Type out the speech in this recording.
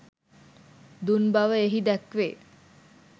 දුන් බව එහි දැක්වේ